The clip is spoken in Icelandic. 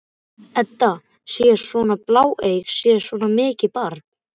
Edda sé svona bláeyg, sé svona mikið barn?